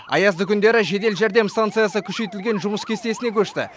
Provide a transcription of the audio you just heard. аязды күндері жедел жәрдем станциясы күшейтілген жұмыс кестесіне көшті